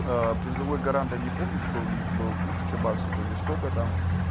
аа призовой гарант я не помню какой у них был тысяча баксов или сколько там